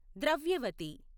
Dravyavati